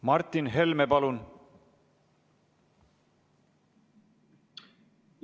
Martin Helme, palun!